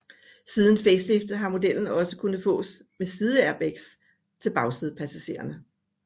Siden faceliftet har modellen også kunnet fås med sideairbags til bagsædepassagerne